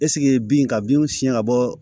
bin ka binw siyɛn ka bɔ